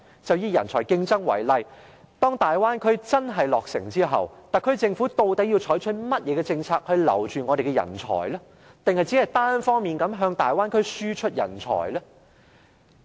就以人才競爭為例，當大灣區真的落成後，特區政府究竟要採取甚麼政策留住我們的人才，抑或只是單方面向大灣區輸出人才呢？